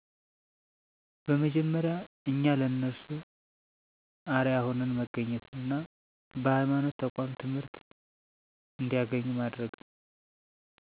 በመጀመሪያ እኛ ለነርሱ አርአያ ሁነን መገኘት እና በሐይማኖት ተቋም ትምህርት እንዲያገኙ ማድረግ